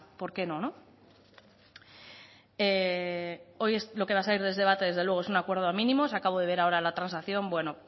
por qué no no hoy lo que va a salir de este debate desde luego es un acuerdo de mínimos acabo de ver ahora la transacción